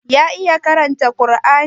Ya iya karanta Kar'ani?